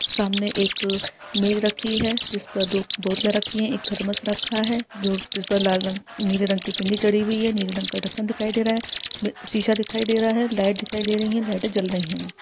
सामने एक मेज रखी है जिसपे दो बोतले रखी है एक थर्मस रखा है जो जिस पर लाल रंग नीले रंग की पिन्नी चढ़ी है नीले रंग का ढकन दिखाई दे रहा है शीशा दिखाई दे रहा है लाइट दिखाई दे रही है लाइट जल रही हैं।